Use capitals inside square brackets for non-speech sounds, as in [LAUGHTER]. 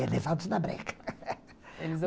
É, levados na breca. [LAUGHS] [UNINTELLIGIBLE]